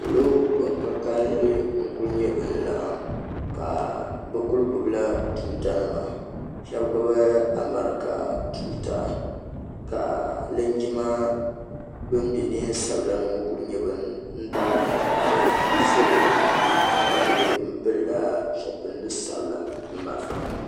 Niriba ban ka kalinli n kuli nyɛ ban laɣim ka bɛ kuli gbibila tuuta nima sheba gbibi amarika tuuta ka linjima ban be niɛn'sabila ni ŋɔ kuli nyɛ ban daari ka tahira salo ka kuli pilila zuɣu pindi sabla ni marafa nima.